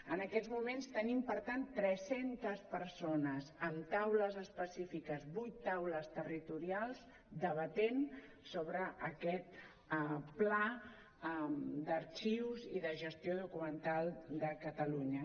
en aquests moments tenim per tant tres centes persones en taules específiques vuit taules territorials debatent sobre aquest pla d’arxius i de gestió documental de catalunya